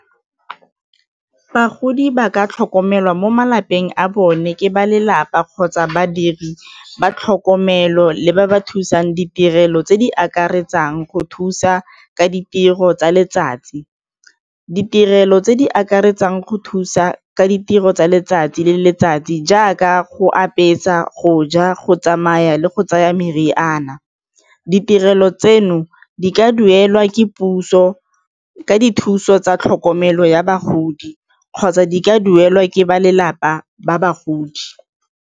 Bagodi ba ka tlhokomelwa mo malapeng a bone ke ba lelapa kgotsa badiri ba tlhokomelo le ba ba thusang ditirelo tse di akaretsang go thusa ka ditiro tsa letsatsi, ditirelo tse di akaretsang go thusa ka ditiro tsa letsatsi le letsatsi jaaka go apesa, go ja, go tsamaya le go tsaya meriana. Di tirelo tseno di ka duelwa ke puso ka dithuso tsa tlhokomelo ya bagodi kgotsa di ka duelwa ke ba lelapa ba bagodi.